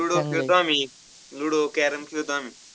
ludo च खेळतो आम्ही. ludo carrom खेळतो आम्ही.